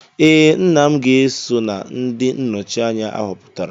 Ee, nna m ga-eso na ndị nnọchi anya ahọpụtara